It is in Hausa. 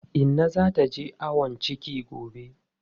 Inna za ta je ayon ciki gobe.